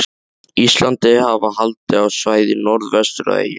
Íslandi, hafa haldið á svæðið norðvestur af eyjunni.